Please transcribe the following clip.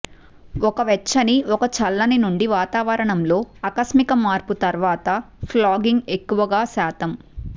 ఒక వెచ్చని ఒక చల్లని నుండి వాతావరణంలో ఆకస్మిక మార్పు తరువాత ఫ్లాగింగ్ ఎక్కువగా శాతం